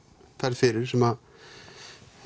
ferð fyrir sem